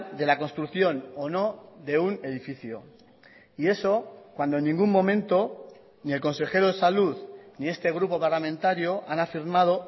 de la construcción o no de un edificio y eso cuando en ningún momento ni el consejero de salud ni este grupo parlamentario han afirmado